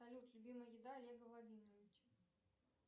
салют любимая еда олега владимировича